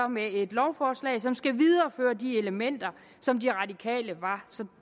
med et lovforslag som skal videreføre de elementer som de radikale var så